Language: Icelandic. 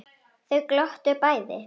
Þau glottu bæði.